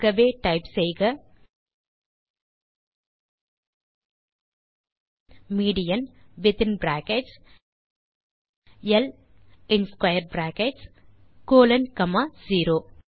ஆகவே டைப் செய்க median within brackets ல் ஸ்க்வேர் பிராக்கெட்ஸ் கோலோன் காமா 0